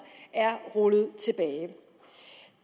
er rullet tilbage